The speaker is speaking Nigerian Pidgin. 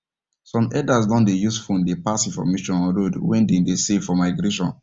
some herders doh dey use phone dey pass information on road wen dey dey safe for migration